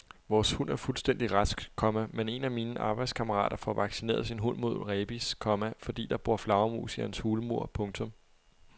Vores hund er fuldstændig rask, komma men en af mine arbejdskammerater får vaccineret sin hund mod rabies, komma fordi der bor flagermus i hans hulmur. punktum